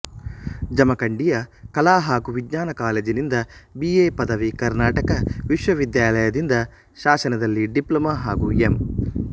ಜಮಖಂಡಿಯ ಕಲಾ ಹಾಗೂ ವಿಜ್ಞಾನ ಕಾಲೇಜಿನಿಂದ ಬಿ ಎ ಪದವಿ ಕರ್ನಾಟಕ ವಿಶ್ವವಿದ್ಯಾಲಯದಿಂದ ಶಾಸನದಲ್ಲಿ ಡಿಪ್ಲೊಮ ಹಾಗೂ ಎಂ